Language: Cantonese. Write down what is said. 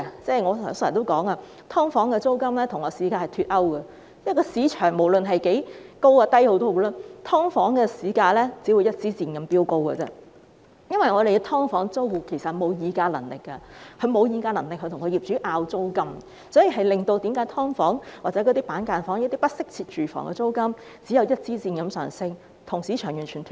正如我剛才提到，"劏房"租金與市價脫鈎，因為無論市場需求高或低，"劏房"租金只會像一支箭般飆高，因為"劏房"租戶其實並沒有議價能力與業主爭拗租金，令"劏房"、板間房或不適切住房的租金只會像一支箭般上升，跟市場完全脫鈎。